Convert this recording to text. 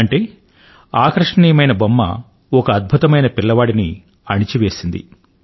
అంటే ఆకర్షణీయమైన బొమ్మ ఒక అద్భుతమైన పిల్లవాడిని అణిచివేసింది